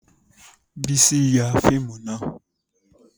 Bísí ya fíìmù náà